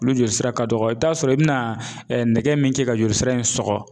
Olu joli sira ka dɔgɔ i bi t'a sɔrɔ i bɛna nɛgɛ min kɛ ka joli sira in sɔgɔ